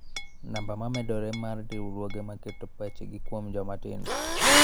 Namba ma medore mar riwruoge ma keto pachgi kuom joma tindo.